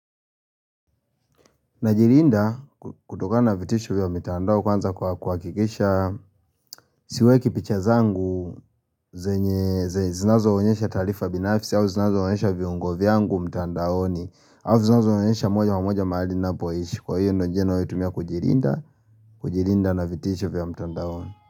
Najilinda kutokana na vitisho vya mtandao kwanza kwa kuhakikisha siweki picha zangu zinazo onyesha taarifa binafisi au zinazo onyesha viungo vyangu mtandaoni au zinazo onyesha moja kwa moja mahali na poishi kwa hiyo ndio njia ninayo tumia kujilinda kujilinda na vitisho vya mtandaoni.